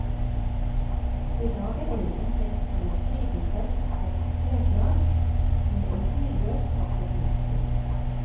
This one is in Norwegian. I dag er eiken kjent som et slitesterkt og hardt treslag, med et tidløst, vakkert mønster.